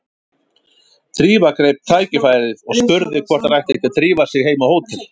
Drífa greip tækifærið og spurði hvort þær ættu ekki að drífa sig heim á hótel.